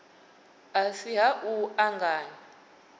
a si ha u anganya